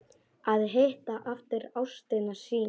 Að hitta aftur ástina sína